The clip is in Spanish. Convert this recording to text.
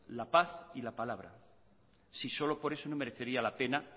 la paz y la palabra si solo por eso no merecería la pena